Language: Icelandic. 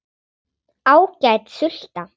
Ágæt sulta.